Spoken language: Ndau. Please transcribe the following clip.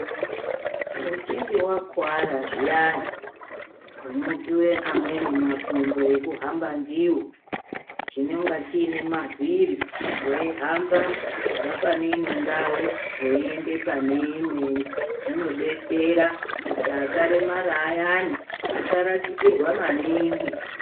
Uchinge wakuwara zviyani unopuwe amweni makumbo ekuhamba ndiwo chinonga chiono mavhiri weihamba kubve pane inondau weinde pane imweni zvinodetsera kuti akaremara ayani asarasikirwa maningi.